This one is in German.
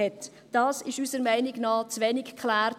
Dies ist unserer Meinung nach zu wenig geklärt.